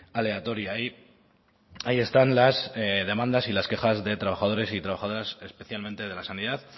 aleatoria y ahí están las demandas y las quejas de trabajadores y de trabajadoras especialmente de la sanidad